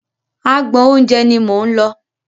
Agbọn oúnjẹ ni mò ń lọ.